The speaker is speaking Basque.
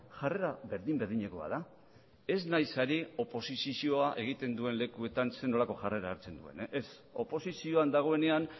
jarrera berdin berdinekoa da ez naiz ari oposizioa egiten duen lekuetan zer nolako jarrera hartzen duen ez oposizioan dagoenean